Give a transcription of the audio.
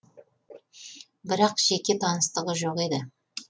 бірақ жеке таныстығы жоқ еді